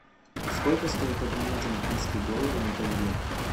сколько стоит обменять американские доллары на тенге